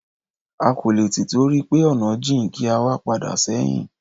A kò lè tìtorí pé ọ̀nà jìn kí a wá padà sẹ́hìn.